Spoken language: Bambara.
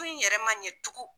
Ko in yɛrɛma ɲɛ tugun